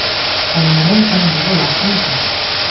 Qaynanam ham juda yaxshi inson.